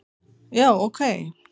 já ok